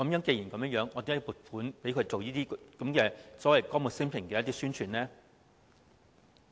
既然如此，為何我們要撥款給政府進行所謂"歌舞昇平"的宣傳呢？